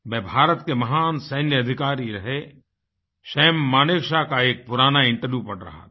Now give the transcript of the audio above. मैं भारत के महान सैन्य अधिकारी रहे सम Manekshawका एक पुराना इंटरव्यू पढ़ रहा था